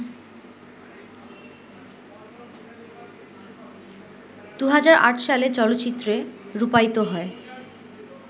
২০০৮ সালে চলচ্চিত্রে রূপায়িত হয়